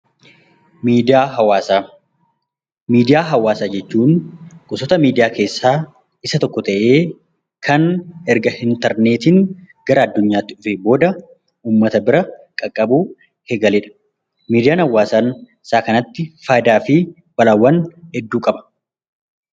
Miidiyaa hawaasaa Miidiyaa hawaasaa jechuun gosoota miidiyaa keessaa tokko ta'ee, kan erga interneetiin gara addunyaatti dhufee booda uummata qaqqabuu eegaledha. Miidiyaa hawaasaa isa kanatti fayidaa fi balaawwan hedduu qaba.